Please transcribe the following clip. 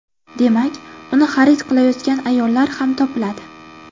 Demak, uni xarid qilayotgan ayollar ham topiladi.